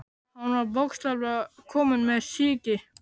Hann var bókstaflega kominn með sýki.